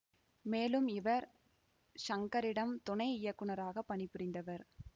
மேலும் இவர் ஷங்கரிடம் துணை இயக்குனராக பணிபுரிந்தவர்